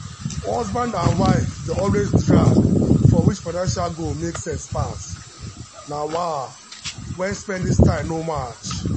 husband and wife dey always drag for which financial goal make sense pass na wah when spending style no match.